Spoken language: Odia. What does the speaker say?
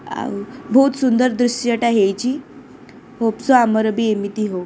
ଆଉ ବହୁତ ସୁନ୍ଦର ଦୃଶ୍ୟ ଟା ହେଇଛି। ହୋପ ସୋ ଆମର ବି ଏମିତି ହଉ।